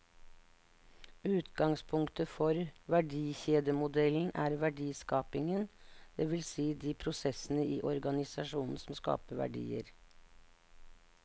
Utgangspunktet for verdikjedemodellen er verdiskapingen, det vil si de prosessene i organisasjonen som skaper verdier.